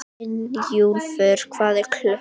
Brynjúlfur, hvað er klukkan?